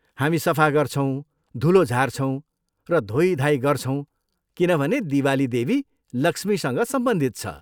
हामी सफा गर्छौँ, धुलो झार्छौँ र धोइधाइ गर्छुौँ किनभने दिवाली देवी लक्ष्मीसँग सम्बन्धित छ।